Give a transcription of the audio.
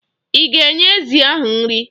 Ị ga-enye ezi ahụ nri?